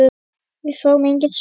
Við fáum engin svör.